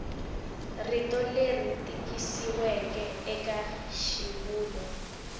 rito leri tikisiweke eka xivulwa